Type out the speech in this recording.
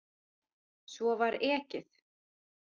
Svo var ekið.